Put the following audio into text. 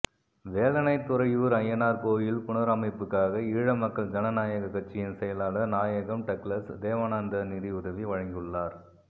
வேலணை துறையூர் ஐயனார் கோயில் புனரமைப்புக்காக ஈழ மக்கள் ஜனநாயக கட்சியின் செயலாளர் நாயகம் டக்ளஸ் தேவானந்தா நிதியுதவி வழங்கியுள்ளார்